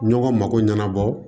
Ɲɔgɔn mako ɲɛnabɔ